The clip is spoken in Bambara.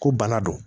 Ko bana don